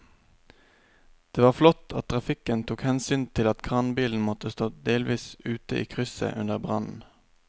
Det var flott at trafikken tok hensyn til at kranbilen måtte stå delvis ute i krysset under brannen.